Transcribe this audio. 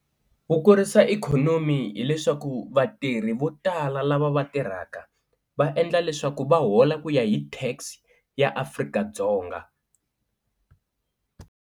Ku kurisa ikhonomi hileswaku vatirhi vo tala lava va tirhaka va endla leswaku va hola ku ya hi tax ya Afrika-Dzonga.